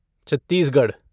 Chhattisgarh